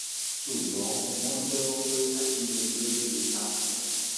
ṣùgbọn wọn jẹwọ pé ajínigbé ni àwọn